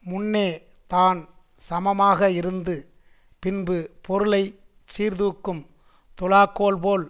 முன்னே தான் சமமாக இருந்து பின்பு பொருளை சீர்தூக்கும் துலாக்கோல் போல்